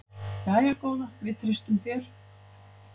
Jæja góða, við treystum þér.